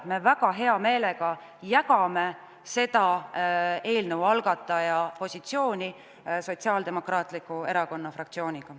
Me väga hea meelega jagame eelnõu algataja positsiooni Sotsiaaldemokraatliku Erakonna fraktsiooniga.